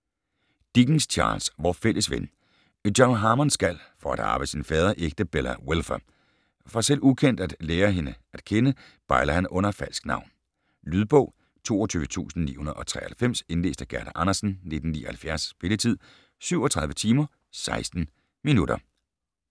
Dickens, Charles: Vor fælles ven John Harmond skal, for at arve sin fader, ægte Bella Wilfer. For, selv ukendt, at lære hende at kende, bejler han under falsk navn. Lydbog 22993 Indlæst af Gerda Andersen, 1979. Spilletid: 37 timer, 16 minutter.